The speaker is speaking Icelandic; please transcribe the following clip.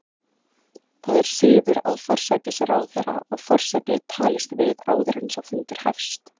Það er siður að forsætisráðherra og forseti talist við áður en sá fundur hefst.